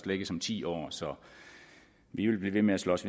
lægges om ti år så vi vil blive ved med at slås